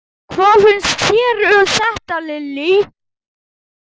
Hvað finnst þér um þetta, Lilja?